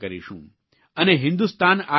અને હિંદુસ્તાન આ કરી શકે છે